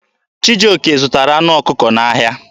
Chijioke zụtara anụ ọkụkọ n'ahịa.